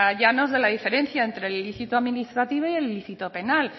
llanos de la diferencia entre el lícito administrativo y el lícito penal